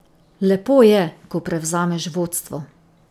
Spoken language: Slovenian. Lepo je, ko prevzameš vodstvo.